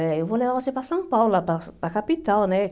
Eh eu vou levar você para São Paulo, para para a capital, né?